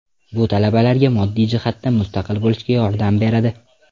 Bu talabalarga moddiy jihatdan mustaqil bo‘lishga yordam beradi.